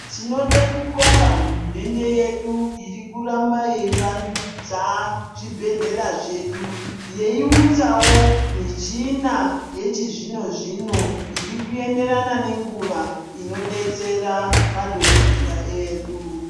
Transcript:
Tinode kubonga hurumende yedu yoramba yeyivandudza zvibhedhlera zvedu yeyi unzwawo michini yechizvino zvino inoenderana nenguva inodetsera madhokodheya edu.